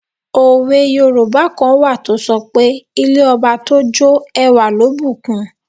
Òwe yoòbá kan wà tó sọ pé 'ilé ọba tó jó ẹwà ló bù kun'